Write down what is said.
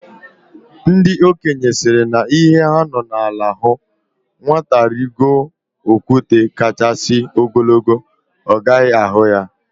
Ndị okenye sịrị na ihe ha nọ na ala hụ, nwata rigo okwute kachasị ogologo, ọ gaghị ahụ ya